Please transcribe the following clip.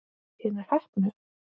Hinir heppnu?